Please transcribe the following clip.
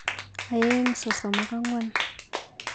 Aeng sosom ak angwan.